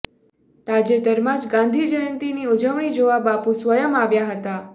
તાજેતરમાં જ ગાંધીજયંતીની ઉજવણી જોવા બાપુ સ્વયં આવ્યા હતા